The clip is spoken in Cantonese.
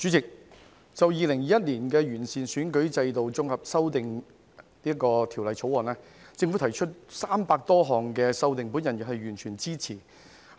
主席，政府就《2021年完善選舉制度條例草案》提出300多項修訂，我完全支持。